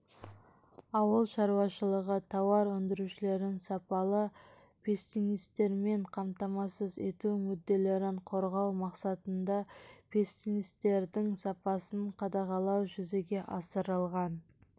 ауыл шаруашылығы тауар өндірушілерін сапалы пестицидтермен қамтамасыз ету мүдделерін қорғау мақсатында пестицидтердің сапасын қадағалау жүзеге асырылған